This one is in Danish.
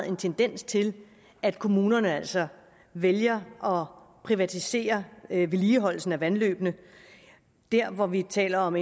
en tendens til at kommunerne altså vælger at privatisere vedligeholdelsen af vandløbene der hvor vi taler om